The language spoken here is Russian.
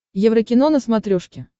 еврокино на смотрешке